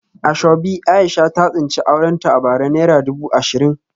Asoebi Aisha ta tsinci aurenta a bara naira dubu ashirin